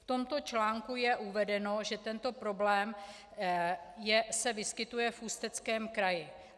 V tomto článku je uvedeno, že tento problém se vyskytuje v Ústeckém kraji.